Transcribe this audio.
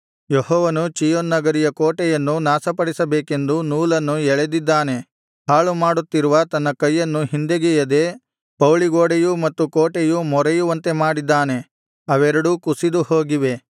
ಯೆಹೋವನು ಚೀಯೋನ್ ನಗರಿಯ ಕೋಟೆಯನ್ನು ನಾಶಪಡಿಸಬೇಕೆಂದು ನೂಲನ್ನು ಎಳೆದಿದ್ದಾನೆ ಹಾಳು ಮಾಡುತ್ತಿರುವ ತನ್ನ ಕೈಯನ್ನು ಹಿಂದೆಗೆಯದೆ ಪೌಳಿಗೋಡೆಯೂ ಮತ್ತು ಕೋಟೆಯೂ ಮೊರೆಯುವಂತೆ ಮಾಡಿದ್ದಾನೆ ಅವೆರಡೂ ಕುಸಿದುಹೋಗಿವೆ